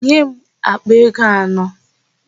Nye m àkpà ego anọ!